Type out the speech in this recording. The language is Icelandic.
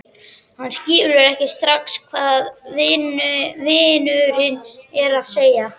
Hann skilur ekki strax hvað vinurinn er að segja.